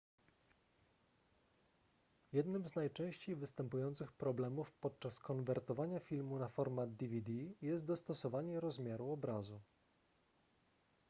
jednym z najczęściej występujących problemów podczas konwertowania filmu na format dvd jest dostosowanie rozmiaru obrazu